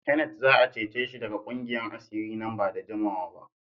Kenneth za a cece shi daga ƙungiyar asiri nan ba da jimawa ba.